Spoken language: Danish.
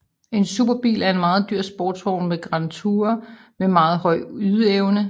En superbil er en meget dyr sportsvogn eller Grand Tourer med meget høj ydeevne